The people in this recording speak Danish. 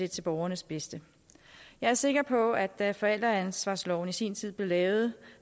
til borgernes bedste jeg er sikker på at da forældreansvarsloven i sin tid blev lavet